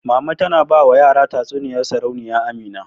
Mama tana ba wa yara tatsuniyar Sarauniya Amina.